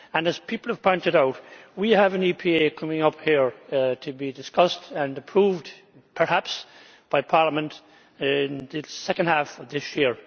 As people have pointed out, we have an EPA coming up to be discussed and approved, perhaps, by Parliament in the second half of this year.